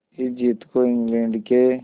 इस जीत को इंग्लैंड के